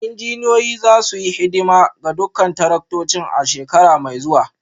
Injiniyoyin za su yi hidima ga dukkan taraktocin a shekara mai zuwa